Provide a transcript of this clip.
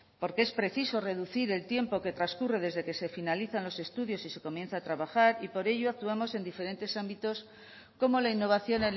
porque es preciso reducir el tiempo que transcurre desde que se finalizan los estudios y se comienza a trabajar y por ello actuamos en diferentes ámbitos como la innovación